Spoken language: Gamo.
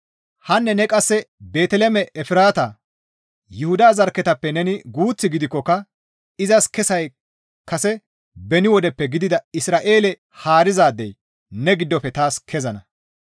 Hanne ne qasse Beeteliheeme Efraata, Yuhuda zarkketappe neni guuth gidikkoka izas kessay kase beni wodeppe gidida Isra7eele haarizaadey ne giddofe taas kezana.